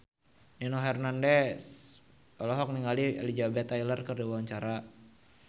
Nino Fernandez olohok ningali Elizabeth Taylor keur diwawancara